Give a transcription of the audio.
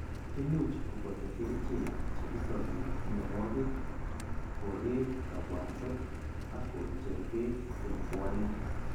Imucj ko boto kerichek che isobi, mianwogik, koreek kabwanset ak kocher beek eng' puanik.